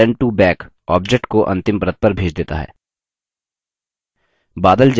send to back object को अंतिम परत पर भेज देता है